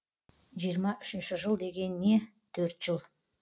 жиырма үшінші жыл деген не төрт жыл